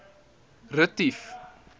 retief